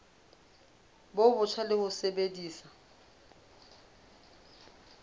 bo botjha le ho sebedisa